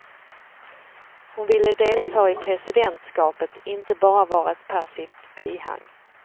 Hon ville delta i presidentskapet, inte bara vara ett passivt bihang.